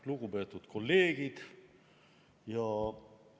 Lugupeetud kolleegid!